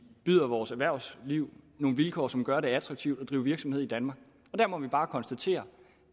byder vores erhvervsliv nogle vilkår som gør at det er attraktivt at drive virksomhed i danmark og der må vi bare konstatere